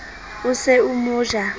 o se o mo ja